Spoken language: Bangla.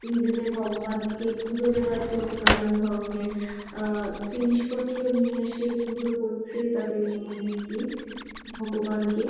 নিজেদের ভগবানকে পুজো দেওয়ার জন্য নানান ধরনের আহ জিনিসপত্র নিয়ে এসে পুজো করছে। তাদের ভগবানকে--